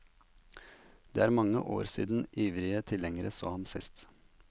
Det er mange år siden ivrige tilhengere så ham sist.